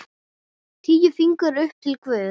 Tíu fingur upp til guðs.